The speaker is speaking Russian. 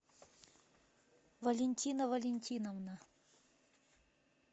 валентина валентиновна